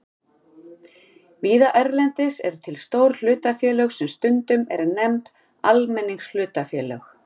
Víða erlendis eru til stór hlutafélög sem stundum eru nefnd almenningshlutafélög.